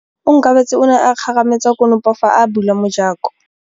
Onkabetse o ne a kgarametsa konopô fa a bula mojakô.